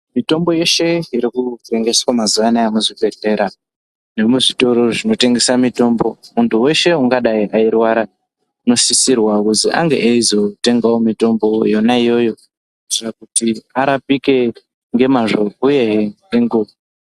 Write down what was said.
Mitombo yeshe irikutengeswa mazuva anaya muchibhedhleya nemuzvitoro zvinotengesa mitombo. Muntu veshe ungadai eirwara unosisirwa kuti angevo eizotengavo mutombo yonaiyoyo. kuitira kuti arapike ngemazvo uyehe nengeva.